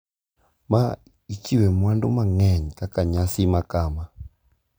Ma ichiwe mwandu mang`eny kaka nyasi makama.